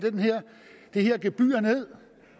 det her gebyr ned